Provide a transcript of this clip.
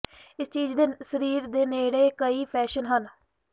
ਇਸ ਚੀਜ ਦੇ ਸਰੀਰ ਦੇ ਨੇੜੇ ਕਈ ਫੈਸ਼ਨ ਹਨ